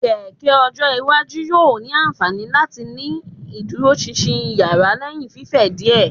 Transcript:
Keke ojo iwaju yoo ni anfani lati tii ni iduroṣinṣin iyara lẹhin fifẹ diẹ